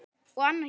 Og annar hér!